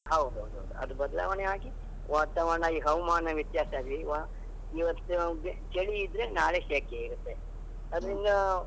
ಹೌದೌದು, ಅದು ಬದಲಾವಣೆಯಾಗಿ ವಾತಾವರಣ ಈ ಹವಾಮಾನ ವ್ಯತ್ಯಾಸವಾಗಿ ವಾ ಇವತ್ತು ಚಳಿ ಇದ್ರೆ ನಾಳೆ ಸೆಕೆ ಇರುತ್ತೆ, ಅದರಿಂದ.